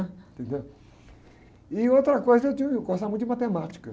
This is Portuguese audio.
Entendeu? E outra coisa, eu gostava muito de matemática.